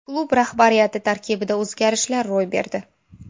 Klub rahbariyati tarkibida o‘zgarishlar ro‘y berdi.